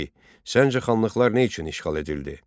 Səncə xanlıqlar nə üçün işğal edildi?